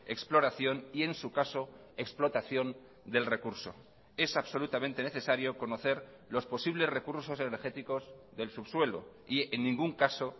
exploración y en su caso explotación del recurso es absolutamente necesario conocer los posibles recursos energéticos del subsuelo y en ningún caso